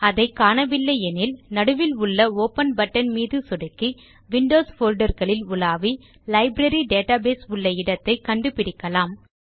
அதை காணவில்லை எனில் நடுவில் உள்ள ஒப்பன் பட்டன் மீது சொடுக்கி விண்டோஸ் போல்டர் களில் உலாவி லைப்ரரி டேட்டாபேஸ் உள்ள இடத்தை கண்டு பிடிக்கலாம்